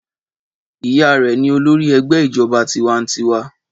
Ìyá rẹ ní olórí ẹgbẹ́ ìjọba tiwańtiwa.